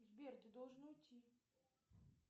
сбер ты должен уйти